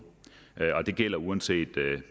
og det gælder uanset